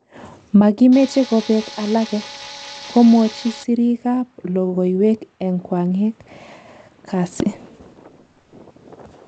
"Magimeche kobek alage", komwachi sirik ab logoywek eng kwaeng kasi